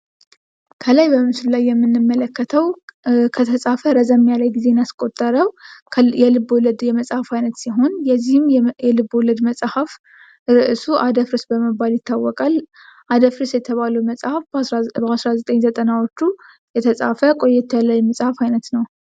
ከላይ በምስሉ ላይ የምንመለከተው ከተጻፈ ረዘም ያለ ጊዜን ያስቆጠረው የልቦለድ የመጽሐፍ አይነት ሲሆን የዚህም የልቦለድ መጽሐፍ ርዕሱ አደፍርስ በመባል ይታወቃል። አደፍርስ የተባለው መጽሐፍ በ1990ዎቹ የተጻፈ ቆየት ያለ የመጽሐፍ አይነት ነው።